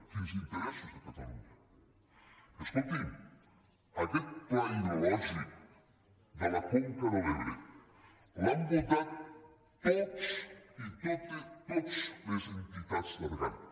quins interessos de catalunya escolti’m aquest pla hidrològic de la conca de l’ebre l’han votat totes les entitats de regants